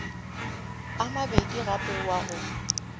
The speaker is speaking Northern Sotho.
a mabedi gape wa go